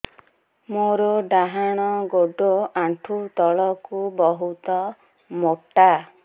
ମୋର ଡାହାଣ ଗୋଡ ଆଣ୍ଠୁ ତଳୁକୁ ବହୁତ ମୋଟା